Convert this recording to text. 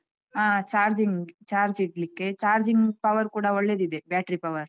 ಹಾ charging charge ಇಡ್ಲಿಕ್ಕೆ charging power ಕೂಡ ಒಳ್ಳೆದಿದೆ battery power .